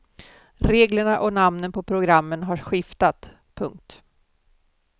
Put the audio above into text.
Reglerna och namnen på programmen har skiftat. punkt